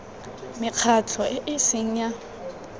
mekgatlho e e seng ya